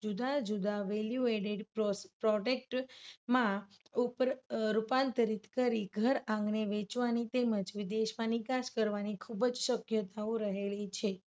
જુદા જુદા value added product માં ઉપર રૂપાંતરિત કરી ઘર આંગણે વેચવાની તેમજ વિદેશમાં નિકાસ કરવાની ખૂબ જ શક્યતાઓ રહેલી છે.